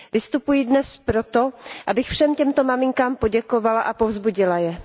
Vystupuji dnes proto, abych všem těmto maminkám poděkovala a povzbudila je.